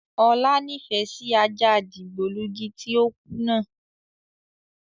Ọlá nifẹ síí ajá dìgbòlugi tí ó kú náà